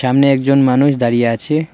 নে একজন মানুষ দাঁড়িয়ে আছে।